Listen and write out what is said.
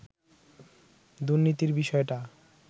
দুর্নীতির বিষয়টা